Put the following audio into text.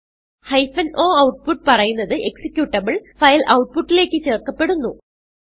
hyphen o output പറയുന്നത് executable file ഔട്ട്പുട്ടിലേക്ക് ചേർക്കപ്പെടുന്നു